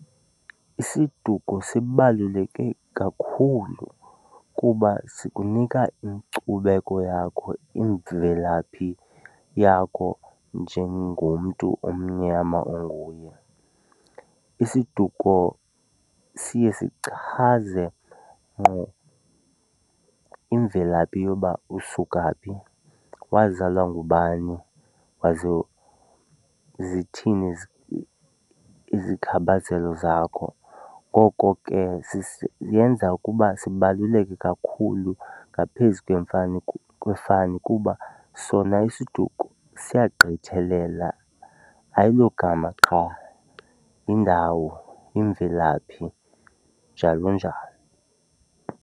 Isiduko sibaluleke kakhulu kuba sikunika inkcubeko yakho, imvelaphi yakho njengomntu omnyama onguye. Isiduko siye sichaze ngqo imvelaphi yoba usuka phi, wazalwa ngubani zithini izithakazelo zakho, ngoko ke ziyenza ukuba sibaluleke kakhulu ngaphezu kwefani kuba sona isiduko siyagqithelela, ayilogama qha. Yindawo, yimvelaphi, njalo njalo.